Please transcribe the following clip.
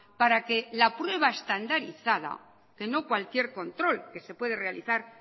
para que la prueba estandarizada que no cualquier control que se puede realizar